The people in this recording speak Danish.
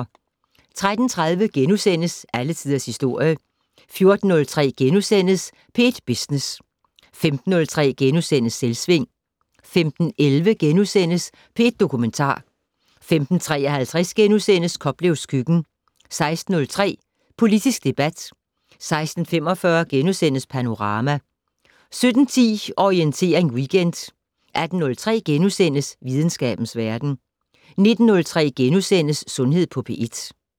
13:30: Alle tiders historie * 14:03: P1 Business * 15:03: Selvsving * 15:11: P1 Dokumentar * 15:53: Koplevs køkken * 16:03: Politisk debat 16:45: Panorama * 17:10: Orientering Weekend 18:03: Videnskabens verden * 19:03: Sundhed på P1 *